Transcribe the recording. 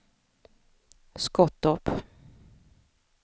Skottorp